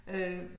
Øh